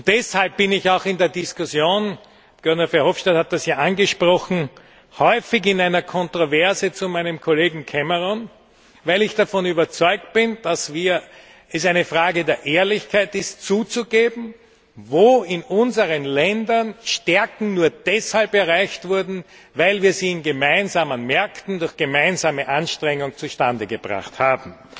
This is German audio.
Deshalb bin ich auch in der Diskussion Guy Verhofstadt hat das ja angesprochen häufig in einer Kontroverse zu meinem Kollegen Cameron, weil ich davon überzeugt bin, dass es eine Frage der Ehrlichkeit ist, zuzugeben, wo in unseren Ländern Stärken nur deshalb erreicht wurden, weil wir sie in gemeinsamen Märkten, durch gemeinsame Anstrengungen zustande gebracht haben.